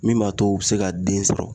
Min b'a to u be se ka den sɔrɔ.